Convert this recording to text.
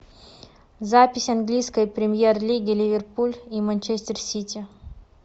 запись английской премьер лиги ливерпуль и манчестер сити